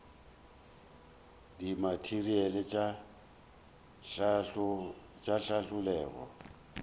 dimateriale tša hlahlo le go